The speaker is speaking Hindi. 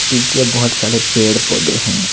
पीछे बहुत सारे पेड़ पौधे हैं।